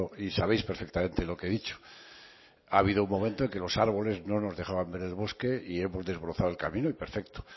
y sabéis perfectamente lo que he dicho ha habido un momento en que los árboles no nos dejaban ver el bosque y hemos desbrozado el camino y perfecto